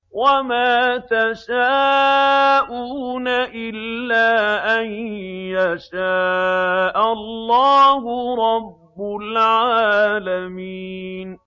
وَمَا تَشَاءُونَ إِلَّا أَن يَشَاءَ اللَّهُ رَبُّ الْعَالَمِينَ